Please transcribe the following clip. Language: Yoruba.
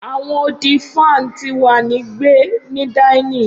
Awọn odi fan ti wa ni gbe ni dinning